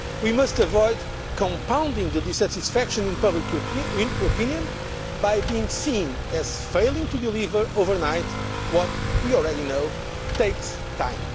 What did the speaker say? We must avoid compounding the dissatisfaction in public opinion by being seen as failing to deliver overnight what we already know takes